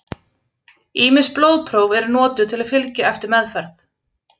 Ýmis blóðpróf eru notuð til að fylgja eftir meðferð.